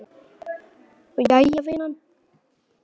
Jæja vinan.